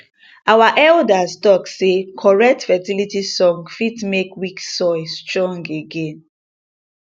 our elders talk say correct fertility song fit make weak soil strong again